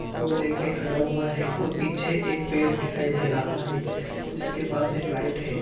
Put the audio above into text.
कोल लेकर खड़ा हुआ है वह पीछे एक पेड़ दिखाई दे रहा है जिसके पास एक लाइट है|